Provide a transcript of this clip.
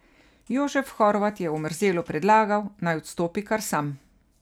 Jožef Horvat je Omerzelu predlagal, naj odstopi kar sam.